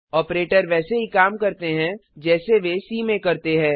operator वैसे ही काम करते हैं जैसे वे सी में करते हैं